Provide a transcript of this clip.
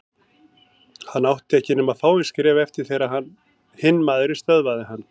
Hann átti ekki nema fáein skref eftir þegar hinn maðurinn stöðvaði hann.